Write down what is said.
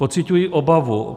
Pociťuji obavu.